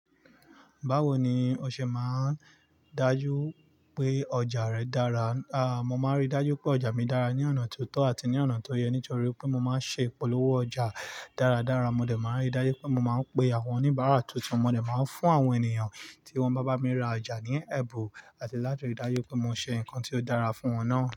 Báwo ni o ṣe máa ń dájú pé ọjà rẹ dára? A, mo máa ń rí dájú pé ọjà mi dára ní ọ̀nà tó tọ́ àti ní ọ̀nà tó yẹ nítorí pé mo máa ń ṣe ìpolówó ọjà dáradára. Mo dẹ̀ máa ń rí dájú pé mo máa ń pe àwọn oníbàárà tuntun, mo dẹ̀ máa ń fún àwọn ènìyàn tí wọ́n bá bá mi ra ja ní ẹ̀bùn àti láti rí dájú pé mo ṣe nǹkan tí ó dára fún wọn náà.